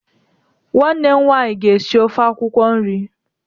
Nwanne m nwaanyị ga esi ofe akwukwo nri.